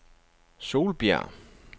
Solbjerg